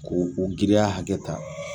Ko o girinya hakɛ ta